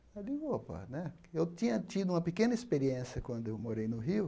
Eu digo, opa né, eu tinha tido uma pequena experiência quando eu morei no Rio,